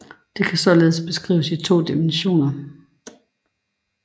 Det kan således beskrives i to dimensioner